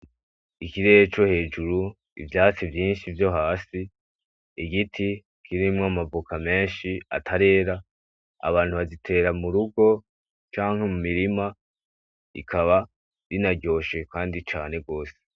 Ikirere co hejuru, ivyatsi vyinshi vyo hasi igiti kirimwo amavoka menshi atarera. Abantu bazitera murugo canke mu mirima rikaba rinaryoshe kandi cane gose.